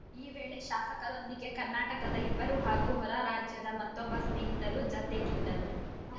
ಈ ವೇಳೆ ಶಾಸಕರೊಂದಿಗೆ ಕರ್ನಾಟಕದ ಇಬ್ಬರು ಹಾಗೂ ಹೊರರಾಜ್ಯದ ಮತ್ತೊಬ್ಬ ಸ್ನೇಹಿತರು ಜತೆಗಿದ್ದರು